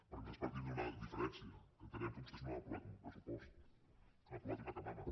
perquè nosaltres partim d’una diferència que entenem que vostès no han aprovat un pressupost han aprovat una camama